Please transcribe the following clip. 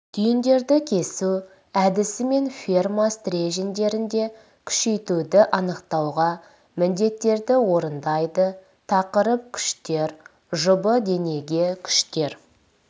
түйіндерді кесу әдісімен ферма стерженьдерінде күшейтуді анықтауға міндеттерді орындайды тақырып күштер жұбы денеге күштер